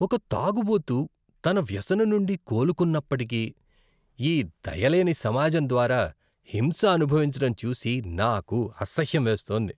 ఒక తాగుబోతు తన వ్యసనం నుండి కోలుకున్నప్పటికీ, ఈ దయలేని సమాజం ద్వారా హింస అనుభవించడం చూసి నాకు అసహ్యం వేస్తోంది.